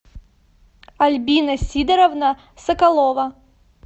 альбина сидоровна соколова